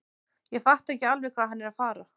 Ég fatta ekki alveg hvað hann er að fara.